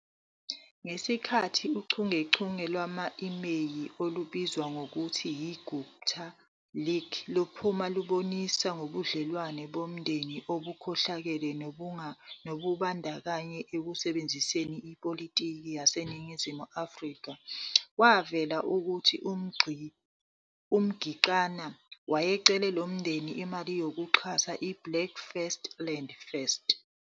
Ngesikhathi uchungechunge lwama-imeyili olubizwa ngokuthi yiGupta Leaks luphuma lubonisa ngobudlelwano bomndeni obukhohlakele nokubandakanyeka ekusebenziseni ipolitiki yaseNingizimu Afrika, kwavela ukuthi uMngitxama wayecele lo mndeni imali yokuxhasa iBlack First Land First.